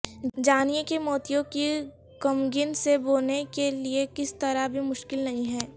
جانیں کہ موتیوں کی کمگن سے بونے کے لئے کس طرح بھی مشکل نہیں ہے